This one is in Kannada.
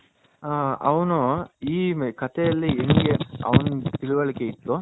ಹಾ ಅವನು ಈ ಕತೆಯಲ್ಲಿ ಎಂಗೆ ಅವನಿಗೆ ತಿಳುವಳಿಕೆ ಇತು